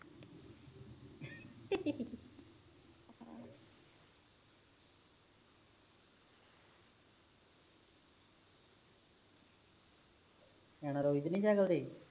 ਰੋਈ ਤੇ ਨੀ ਜਰੂਰੀ